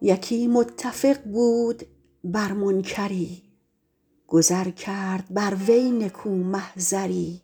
یکی متفق بود بر منکری گذر کرد بر وی نکو محضری